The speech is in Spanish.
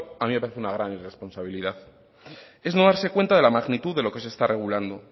a mí me parece una gran irresponsabilidad es no darse cuenta de la magnitud de lo que se está regulando